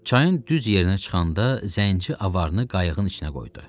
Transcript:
Çayın düz yerinə çıxanda zənci avarını qayığın içinə qoydu.